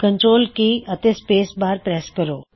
control key ਦਬਾ ਕੇ ਰੱਖੋ ਅਤੇ ਸਪੇਸ ਬਾਰ ਨੂੰ ਪ੍ਰੈੱਸ ਕਰੋ